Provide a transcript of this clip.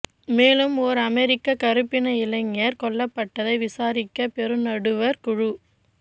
மேலும் ஓர் அமெரிக்க கருப்பின இளைஞர் கொல்லப்பட்டதை விசாரிக்க பெருநடுவர் குழு